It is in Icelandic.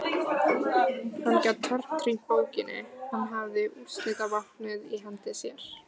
Hann gat tortímt borginni, hann hafði úrslitavopnið í hendi sér.